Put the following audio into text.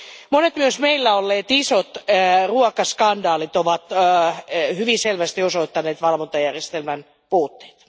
Monet myös meillä olleet isot ruokaskandaalit ovat hyvin selvästi osoittaneet valvontajärjestelmän puutteita.